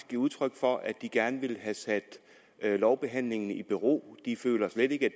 giver udtryk for at de gerne ville have sat lovbehandlingen i bero de føler slet ikke